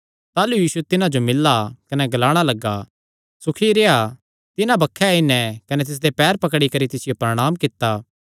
ताह़लू यीशु तिन्हां जो मिल्ला कने ग्लाणा लग्गा सुखी रेह्आ तिन्हां बक्खे आई नैं कने तिसदे पैर पकड़ी करी तिसियो प्रणांम कित्ता